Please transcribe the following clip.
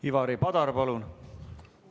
Ivari Padar, palun!